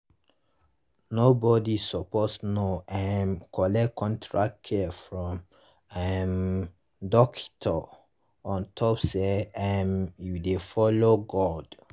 nor bodi sppose nor um collect correct care from um dockito ontop say erm u dey follow god.